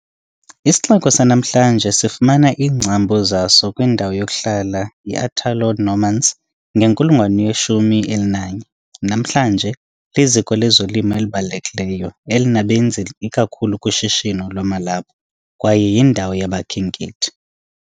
Isixeko sanamhlanje sifumana iingcambu zaso kwindawo yokuhlala yi-Italo-Normans ngenkulungwane yeshumi elinanye. Namhlanje, liziko lezolimo elibalulekileyo, elinabenzi ikakhulu kushishino lwamalaphu, kwaye yindawo yabakhenkethi.